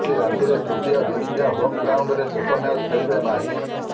ଆଜି ରାଞ୍ଚିରେ ତୃତୀୟ ଦିନିକିଆ ହୋମ୍ ଗ୍ରାଉଣ୍ଡରେ ଶେଷ ମ୍ୟାଚ୍ ଖେଳିବେ ମାହି